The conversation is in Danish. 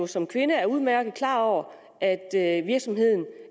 som kvinde udmærket er klar over at at virksomheden